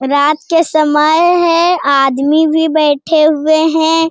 रात के समय है आदमी भी बैठे हुए हैं।